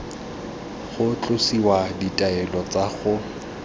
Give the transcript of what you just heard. go tlosiwa ditaelo tsa go